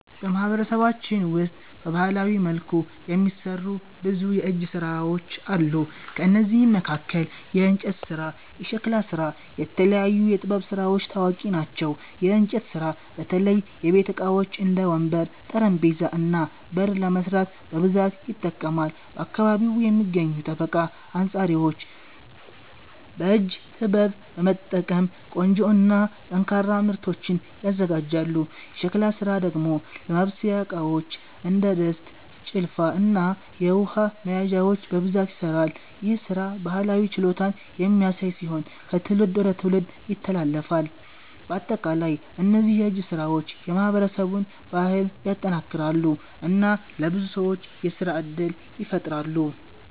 በማህበረሰባችን ውስጥ በባህላዊ መልኩ የሚሠሩ ብዙ የእጅ ሥራዎች አሉ። ከእነዚህ መካከል የእንጨት ስራ፣ የሸክላ ስራ እና የተለያዩ የጥበብ ስራዎች ታዋቂ ናቸው። የእንጨት ስራ በተለይ የቤት ዕቃዎች እንደ ወንበር፣ ጠረጴዛ እና በር ለመስራት በብዛት ይጠቀማል። በአካባቢው የሚገኙ ጠበቃ አንጻሪዎች በእጅ ጥበብ በመጠቀም ቆንጆ እና ጠንካራ ምርቶችን ያዘጋጃሉ። የሸክላ ስራ ደግሞ ለማብሰያ ዕቃዎች እንደ ድስት፣ ጭልፋ እና የውሃ መያዣዎች በብዛት ይሠራል። ይህ ሥራ ባህላዊ ችሎታን የሚያሳይ ሲሆን ከትውልድ ወደ ትውልድ ይተላለፋል። በአጠቃላይ እነዚህ የእጅ ሥራዎች የማህበረሰቡን ባህል ያጠናክራሉ እና ለብዙ ሰዎች የሥራ እድል ይፈጥራሉ።